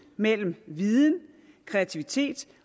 mellem viden kreativitet